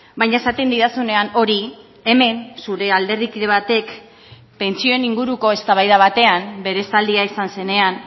baina esaten didazunean hori hemen zure alderdikide batek pentsioen inguruko eztabaida batean bere esaldia izan zenean